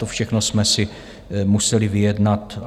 To všechno jsme si museli vyjednat.